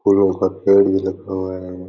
फूलो का पेड़ भी लगा हुआ है।